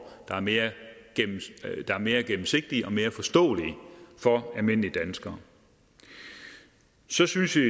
der er mere mere gennemsigtige og mere forståelige for almindelige danskere så synes vi